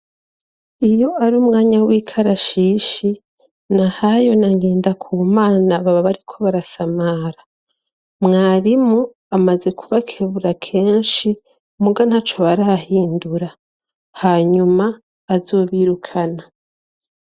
Iyo ar' umwanya w'ikarashishi ,Nahayo na Ngendakumana baba bariko barasamara, mwarimu amaze kubakebura kenshi muga ntaco barahindura, hanyuma bazobirukana.